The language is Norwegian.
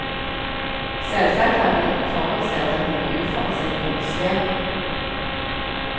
Selvsagt hadde hun forutsett at noe uforutsett kunne skje.